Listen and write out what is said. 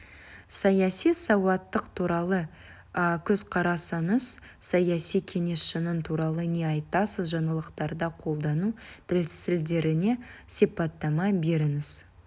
саяси сауаттылық туралы көзқарасыңыз саяси кеңесшінің туралы не айтасыз жаңалықтарда қолдану тәсілдеріне сипаттама беріңіз